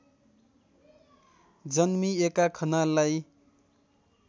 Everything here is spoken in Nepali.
जन्मिएका खनाललाई